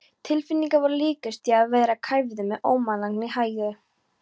Tilfinningin var líkust því að vera kæfður með ómannlegri hægð.